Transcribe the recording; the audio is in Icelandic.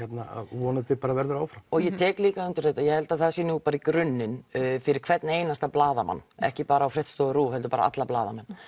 vonandi verður áfram og ég tek líka undir þetta ég held að það sé nú í grunninn fyrir hvern einasta blaðamann ekki bara á fréttastofu RÚV heldur bara alla blaðamenn